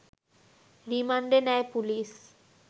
রিমান্ডে নেয় পুলিশ